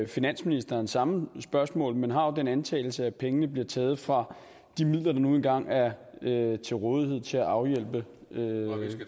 finansministeren samme spørgsmål men har den antagelse at pengene bliver taget fra de midler der nu engang er til rådighed til at afhjælpe